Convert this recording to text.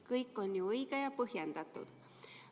Kõik on ju õige ja põhjendatud.